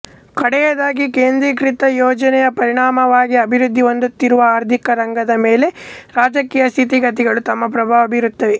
ಕಡೆಯದಾಗಿ ಕೇಂದ್ರೀಕೃತ ಯೋಜನೆಯ ಪರಿಣಾಮವಾಗಿ ಅಭಿವೃದ್ಧಿ ಹೊಂದುತ್ತಿರುವ ಆರ್ಥಿಕ ರಂಗದ ಮೇಲೆ ರಾಜಕೀಯ ಸ್ಥಿತಿಗತಿಗಳೂ ತಮ್ಮ ಪ್ರಭಾವ ಬೀರುತ್ತವೆ